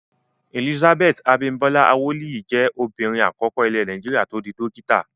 Elizabeth Abimbola Awoliyi jẹ́ obìnrin àkọ́kọ́ ilẹ̀ Nàìjíríà tó di dókítà.